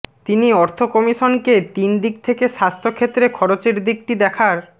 তিনি অর্থ কমিশনকে তিন দিক থেকে স্বাস্থ্য ক্ষেত্রে খরচের দিকটি দেখার